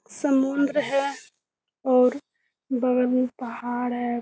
समुन्द्र है और बगल में पहाड़ है।